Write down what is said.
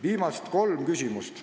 Viimased kolm küsimust.